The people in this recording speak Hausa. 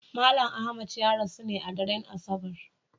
Malam Ahmad ya rasu ne a daren Asabar.